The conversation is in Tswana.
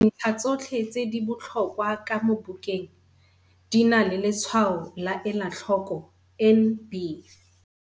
Dintlha tsotlhe tse di botlhokwaa ka mo bukeng, di nale letshwayo la ela tlhoko NB.